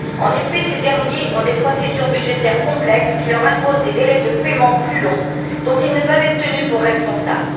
En effet, ces derniers ont des procédures budgétaires complexes qui leur imposent des délais de paiement plus longs dont ils ne peuvent être tenus pour responsables.